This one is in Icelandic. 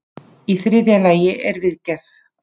Í þriðja lagi er viðgerð.